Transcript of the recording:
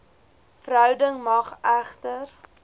verhouding mag egter